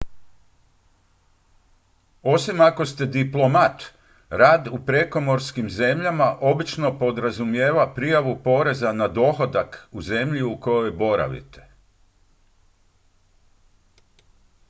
osim ako ste diplomat rad u prekomorskim zemljama obično podrazumijeva prijavu poreza na dohodak u zemlji u kojoj boravite